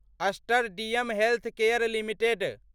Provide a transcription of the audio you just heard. Aster DM healthcare limited